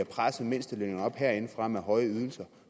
presset mindstelønningerne op herindefra med høje ydelser